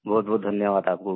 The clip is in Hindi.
बहुतबहुत धन्यवाद आपको भी